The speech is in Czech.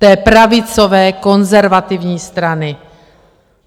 Té je pravicové, konzervativní strany.